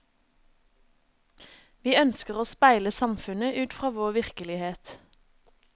Vi ønsker å speile samfunnet ut fra vår virkelighet.